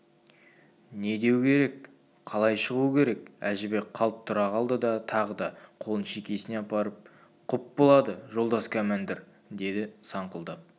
не деу керек қалай шығу керек әжібек қалт тұра қалды да тағы да қолын шекесіне апарып құп болады жолдас кәмәндір деді саңқылдап